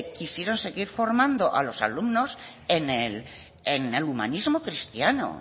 quisieron seguir formando a los alumnos en el humanismo cristiano